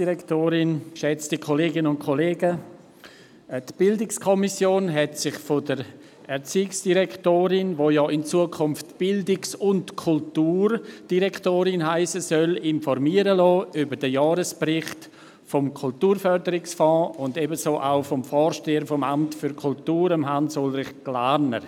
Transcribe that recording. der BiK. Die BiK hat sich von der Erziehungsdirektorin, die ja in Zukunft Bildungs- und Kulturdirektorin heissen soll, über den Jahresbericht des Kulturförderungsfonds informieren lassen, ebenso vom Vorsteher des Amts für Kultur, Hans-Ulrich Glarner.